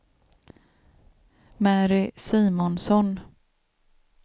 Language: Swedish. Mary Simonsson